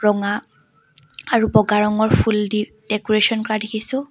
ৰঙা আৰু বগা ৰঙৰ ফুল দি ডেক'ৰেচন কৰা দেখিছোঁ।